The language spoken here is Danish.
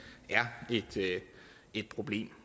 er et problem